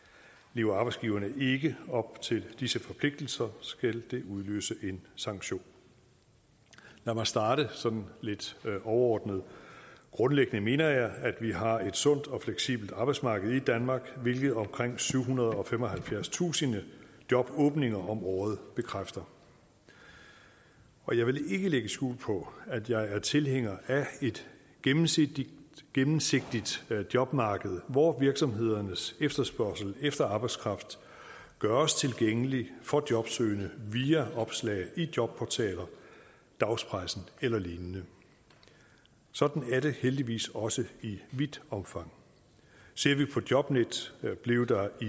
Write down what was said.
lever arbejdsgiverne ikke op til disse forpligtelser skal det udløse en sanktion lad mig starte med sådan lidt overordnet grundlæggende mener jeg at vi har et sundt og fleksibelt arbejdsmarked i danmark hvilket omkring syvhundrede og femoghalvfjerdstusind jobåbninger om året bekræfter og jeg vil ikke lægge skjul på at jeg er tilhænger af et gennemsigtigt gennemsigtigt jobmarked hvor virksomhedernes efterspørgsel efter arbejdskraft gøres tilgængelig for jobsøgende via opslag i jobportaler dagspressen eller lignende og sådan er det heldigvis også i vidt omfang ser vi på jobnet blev der i